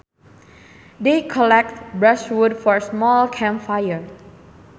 They collected brushwood for a small camp fire